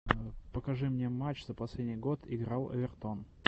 покажи мне матч за последний год играл эвертон